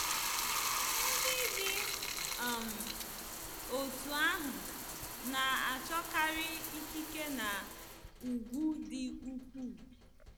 Ndị dị um otú ahụ na-achọkarị ikike na ùgwù di ukwuu.